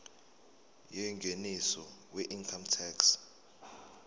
yengeniso weincome tax